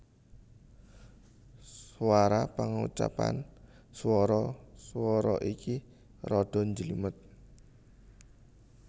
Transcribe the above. Swara Pangucapan swara swara iki rada njlimet